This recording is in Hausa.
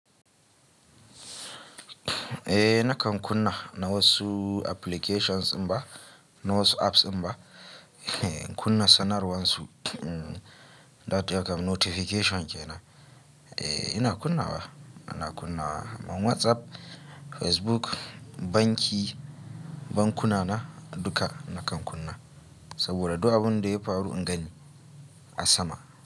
Eh nakan kunna na wa su applications mba, na wa su apps mba, kunna sanarwar su. Data kan notification ke nan. Eh ina kunna wa? Ina kunna WhatsApp, Facebook, banki, bankuna na duka nakan kunna saboda duk abun da yafi faru in gani a sama.